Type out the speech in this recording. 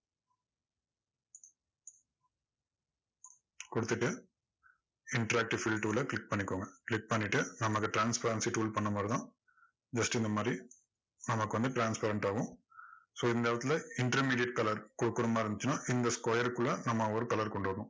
கொடுத்துட்டு interactive fill tool அ click பண்ணிக்கோங்க click பண்ணிட்டு நம்ம அந்த transparency tool பண்ண மாதிரி தான் just இந்த மாதிரி நமக்கு வந்து transparent ஆவும் so இந்த இடத்துல intermediate color கொடுக்கற மாதிரி இருந்துச்சுன்னா இந்த square க்குள்ள நம்ம ஒரு color கொண்டு வரணும்.